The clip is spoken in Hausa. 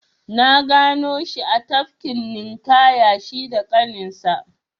Na gano shi a tafkin ninƙaya shi da ƙaninsa.